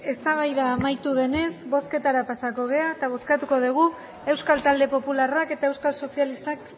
eztabaida amaitu denez bozketara pasatuko gara eta bozkatuko dugu euskal talde popularrak eta euskal sozialistak